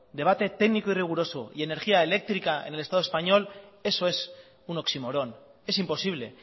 debate técnico riguroso y energía eléctrica en el estado español eso es un oxímoron es imposible